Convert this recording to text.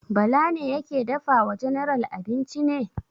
Bala ne yake dafa wa general abinci ne?